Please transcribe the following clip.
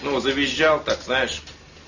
ну завизжал так знаешь